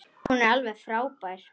Hún er alveg frábær.